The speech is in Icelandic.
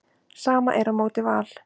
Sama er á móti Val.